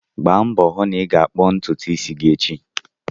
Gbaa mbọ hụ na ị ga-kpụọ ntutu isi gị echi!